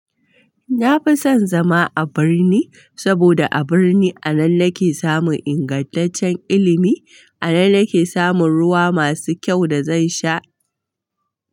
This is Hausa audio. Na fi son zama a birni saboda a birni a nan nake samun ingantaccen ilimi, a nan nake samun ruwa masu kyau da zan sha.